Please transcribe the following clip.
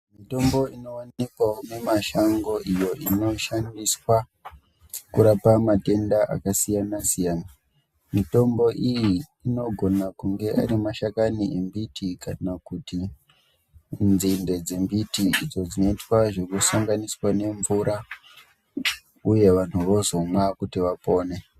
Mitombo inowanikwawo mumashango iyo inoshandiswa kurapa matenda akasiyana-siyana. Mitombo iyi inogona kunge ari mashakani embiti kana kuti nzinde dzembiti idzo dzinoitwa zvekusanganiswa nemvura uye vanhu vozomwa kuti vapone.